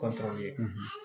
Ka sɔrɔ ye